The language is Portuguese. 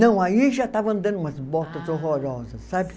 Não, aí já estava andando umas botas horrorosas, sabe?